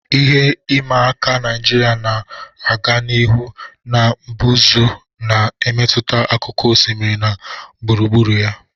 Ihe ịma aka Naijiria na-aga n'ihu na mbuze na-emetụta akụkụ osimiri na gburugburu ya.